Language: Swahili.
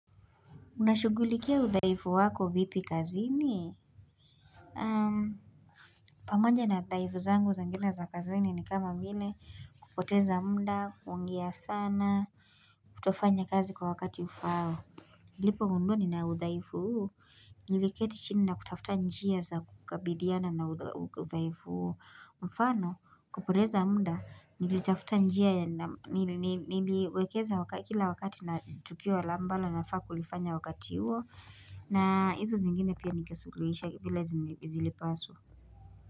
Unashughulikia udhaifu wako vipi kazini? Pamoja na udhaifu zangu za ngina za kazini ni kama vile kupoteza muda, kuongea sana, kutofanya kazi kwa wakati ufao. Lipo hundu ni naudhaifu huu, niliketi chini na kutafuta njia za kukabidhiana na na udhaifu huo mfano, kupoteza muda, nilitafuta njia ya niliwekeza kila wakati na tukio la ambalo nafaa kulifanya wakati huo na hizo zingine pia ningesuluhisha vile zilipaswa.